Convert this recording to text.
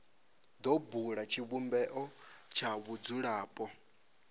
do bula tshivhumbeo tsha vhadzulapo